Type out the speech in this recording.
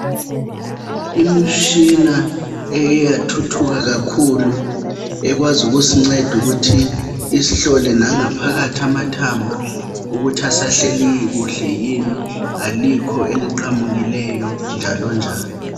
Imitshina ekeyathuthuka kakhulu. Ekwazi ukusinceda ukuthi isihlole nangaphakathi amathambo ukuthi asahleli kuhle yini alikho eliqamukileyo njalonjalo.